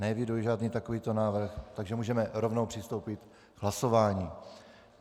Neeviduji žádný takovýto návrh, takže můžeme rovnou přistoupit k hlasování.